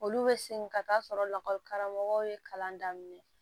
Olu bɛ segin ka taa sɔrɔ lakɔlikaramɔgɔw ye kalan daminɛ